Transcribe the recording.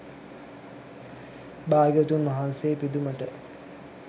භාග්‍යවතුන් වහන්සේ පිදුමට